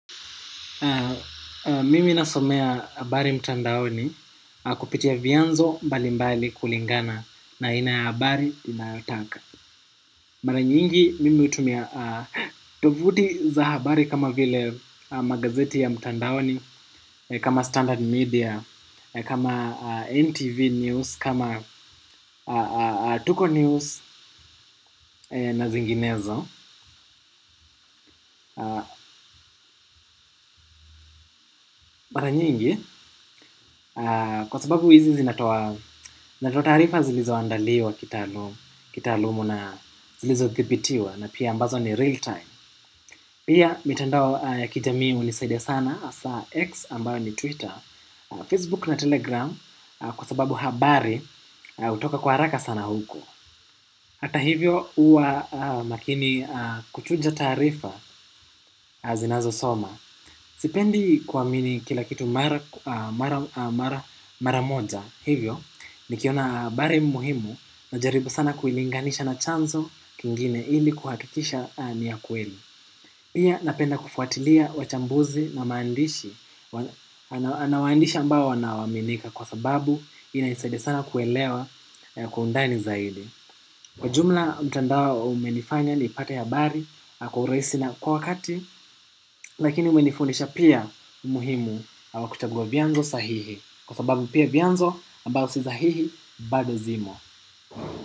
Mimi nasomea habari mtandaoni kupitia vyanzo mbalimbali kulingana na aina ya habari ninayotaka. Mara nyingi, mimi hutumia tovuti za habari kama vile magazeti ya mtandaoni, kama Standard Media, kama NTV News, kama Tuko News na zinginezo. Mara nyingi, kwa sababu hizi zinatoa taarifa zilizoandaliwa kitaalumu na zilizothibitiwa na pia ambazo ni real time. Pia, mitandao ya kijamii hunisaida sana, hasa X ambayo ni Twitter, Facebook na Telegram kwa sababu habari hutoka kwa haraka sana huko hata hivyo huwa makini kuchuja taarifa zinazosoma. Sipendi kuamini kila kitu mara moja hivyo nikiona habari muhimu najaribu sana kuilinganisha na chanzo kingine ili kuhakikisha ni ya kweli. Pia napenda kufuatilia wachambuzi na maandishi na waandishi ambao wanaoaminika kwa sababu inanisaidia sana kuelewa kwa undani zaidi. Kwa jumla, mtandao umenifanya nipate habari kwa urahisi na kwa wakati, lakini umenifundisha pia umuhimu wa kuchagua vyanzo sahihi. Kwa sababu pia vyanzo ambao si sahihi bado zimo.